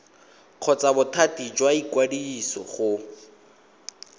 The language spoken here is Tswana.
kgotsa bothati jwa ikwadiso go